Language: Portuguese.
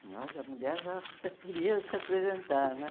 Olha, a mulher já queria se apresentar, né?